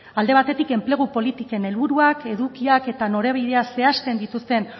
alde batetik enplegu politiken helburuak edukiak eta norabideak zehazten dituzten